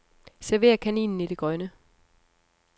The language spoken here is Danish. Server kaninen i det grønne.